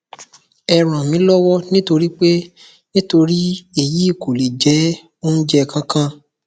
ẹ ràn mí lọwọ nítorí pé nítorí èyí kò lè jẹ oúnjẹ kankan